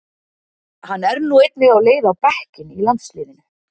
Hann er nú einnig á leið á bekkinn í landsliðinu.